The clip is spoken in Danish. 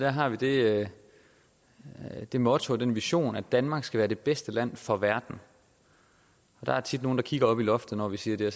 har vi det det motto og den vision at danmark skal være det bedste land for verden der er tit nogle der kigger op i loftet når vi siger det